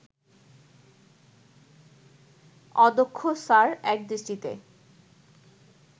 অধ্যক্ষ স্যার একদৃষ্টিতে